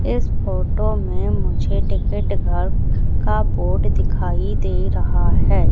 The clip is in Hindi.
इस फोटो में मुझे टिकट घर का बोर्ड दिखाई दे रहा है।